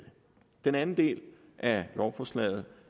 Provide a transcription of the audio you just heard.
den anden del af lovforslaget